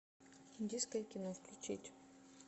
индийское кино включить